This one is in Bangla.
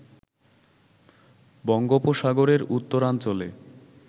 বঙ্গোপসাগরের উত্তরাঞ্চলে